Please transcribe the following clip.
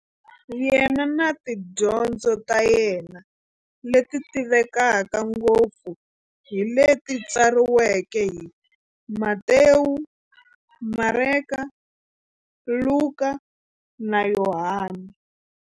Yena na tidyondzo ta yena, leti tivekaka ngopfu hi leti tsariweke hi-Matewu, Mareka, Luka, na Yohani.